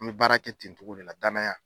An be baara kɛ ten togo de la danaya